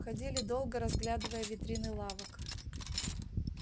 ходили долго разглядывая витрины лавок